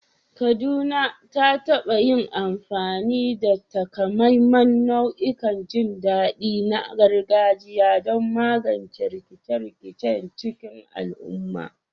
Kaduna ta taɓa yin amfani da takamaiman nau'ikan jin daɗi na gargajiya don magance rikice-rikice cikin lumana.